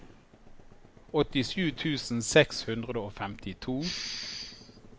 åttisju tusen seks hundre og femtito